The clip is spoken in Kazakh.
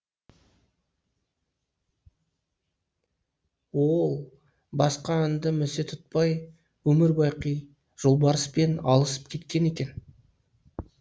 ол басқа анды місе тұтпай өмір бақи жолбарыспен алысып кеткен екен